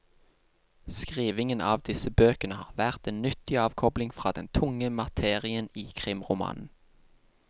Skrivingen av disse bøkene har vært en nyttig avkobling fra den tunge materien i krimromanen.